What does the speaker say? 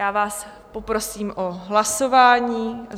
Já vás poprosím o hlasování.